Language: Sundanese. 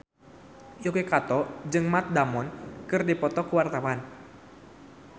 Yuki Kato jeung Matt Damon keur dipoto ku wartawan